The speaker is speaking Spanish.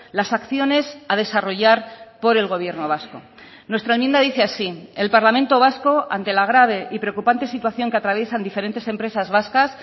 las acciones a desarrollar por el gobierno vasco nuestra enmienda dice así el parlamento vasco ante la grave y preocupante situación que atraviesan diferentes empresas vascas